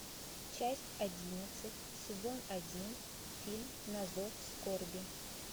часть одиннадцать сезон один фильм на зов скорби